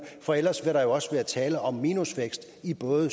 for ellers vil der også være tale om minusvækst i både